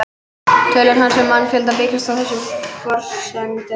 Tölur hans um mannfjölda byggjast á þessum forsendum.